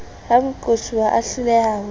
ha moqosuwa a hloleha ho